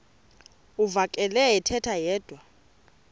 uvakele ethetha yedwa